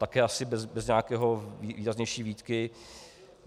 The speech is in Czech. Také asi bez nějaké výraznější výtky.